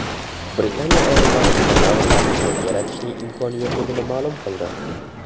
Britaniya olimlari dinozavrlarni qayta yaratishning imkoni yo‘qligini ma’lum qildi.